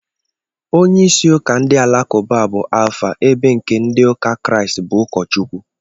Onyeisi ụka ndị alakụba bụ Alfa ebe nke ndị ụka Kraịst bụ ụkọchukwu